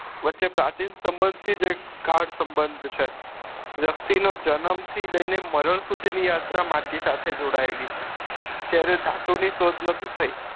વચે પ્રાચીન સબંધ થી જ એક ઘાટ સબંધ છે વ્યક્તિ નો જન્મ થી જ લઈને મરણ સુધી ની યાત્રા એ માટી સાથે જોડાયેલી છે જયારે ધાતુ ની શોધ નતી થઇ